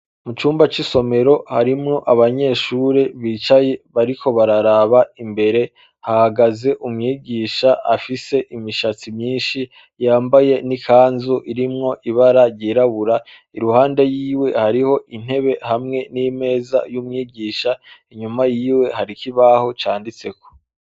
Mu cumba c'isomero harimwo abanyeshuri bicaye bariko bararaba imbere hahagaze umwigisha afise imishatsi myishi yambaye n'ikanzu irimwo ibara ryera iruhande yiwe hariho intebe n'imeza y'umwigisha inyuma yiwe hari ikibaho canditseko.